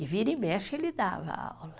E vira e mexe, ele dava aula.